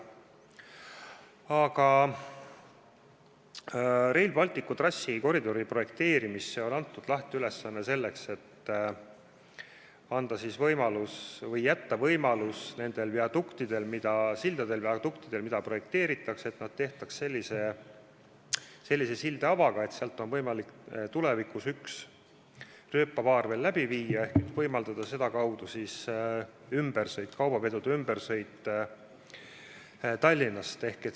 Aga Rail Balticu trassikoridori projekteerimisel on antud lähteülesanne, et need viaduktid ja sillad, mis projekteeritakse, tehtaks sellise sildeavaga, et sealt oleks võimalik tulevikus üks rööpapaar veel läbi viia ehk võimaldada sedakaudu kaubavedude ümbersõitu Tallinnast.